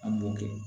An b'o kɛ